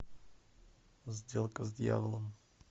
сделка с дьяволом